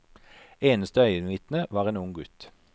Eneste øyenvitne var en ung gutt.